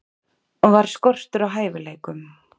Var skortur á hæfileikum?